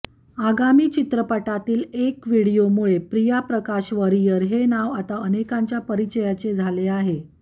आगामी चित्रपटातील एक व्हिडिओमुळे प्रिया प्रकाश वारियर हे नाव आता अनेकांच्याच परिचयाचे झाले आहे